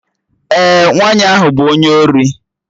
Ee, nwaanyị ahụ bụ onye ori